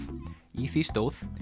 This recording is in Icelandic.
í því stóð